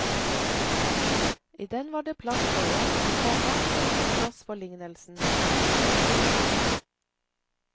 I den var det palss for en, komma og ingen plass for lignelsen. punktum